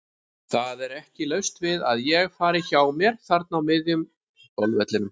Það er ekki laust við að ég fari hjá mér þarna á miðjum golfvellinum.